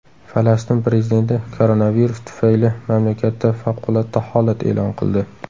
Falastin prezidenti koronavirus tufayli mamlakatda favqulodda holat e’lon qildi.